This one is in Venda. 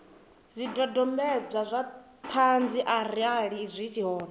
zwidodombedzwa zwa ṱhanzi arali zwi hone